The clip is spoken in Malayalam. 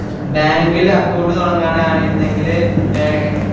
Bank ഇൽ account തൊടങ്ങാനാണെര്ന്നെങ്കില് എ